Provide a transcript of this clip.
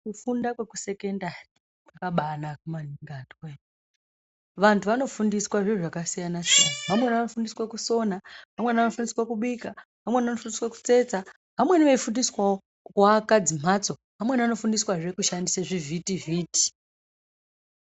Kufunda kwekusekendari kwakabanaka maningi anduwoye vantu vanofundiswa zviro zvakasiyana siyana, vamweni vanofundiswa kusina, vamweni vanofundiswa kubika , veamweni vanofundiswa kutsetsa, vamweni veifundiswawo kuaka dzimhatso , vamweni vanofundiswazve kushandisa zvivhiti vhiti.